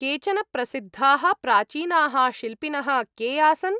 केचन प्रसिद्धाः प्राचीनाः शिल्पिनः के आसन्?